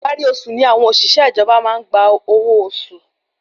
Ìparí oṣù ni àwọn òṣìṣẹ́ ìjọba maá n gba owó oṣù